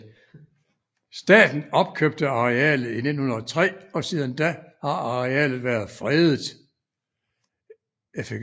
Staten opkøbte arealet i 1903 og siden da har arealet været fredet